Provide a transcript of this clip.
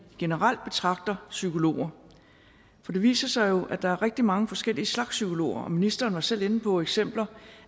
generelt betragter psykologer for det viser sig jo at der er rigtig mange forskellige slags psykologer ministeren var selv inde på eksempler